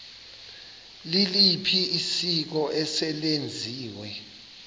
liliphi isiko eselenziwe